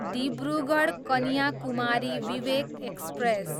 Dibrugarh, Kanyakumari Vivek express